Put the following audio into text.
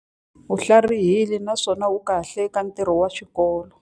U tlharihile naswona u kahle eka ntirho wa xikolo.